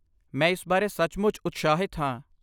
ਮੈਂ ਇਸ ਬਾਰੇ ਸੱਚਮੁੱਚ ਉਤਸ਼ਾਹਿਤ ਹਾਂ।